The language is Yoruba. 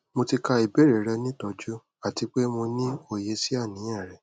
mo ti ka ibeere rẹ ni tọju ati pe mo ni oye si aniyan rẹ